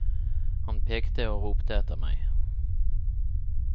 Han pekte og ropte etter meg.